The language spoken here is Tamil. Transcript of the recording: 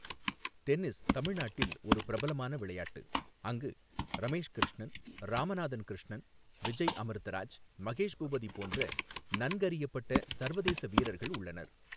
டென்னிஸ் தமிழ்நாட்டில் ஒரு பிரபலமான விளையாட்டு, அங்கு ரமேஷ் கிருஷ்ணன், ராமநாதன் கிருஷ்ணன், விஜய் அமிர்தராஜ், மகேஷ் பூபதி போன்ற நன்கறியப்பட்ட சர்வதேச வீரர்கள் உள்ளனர்.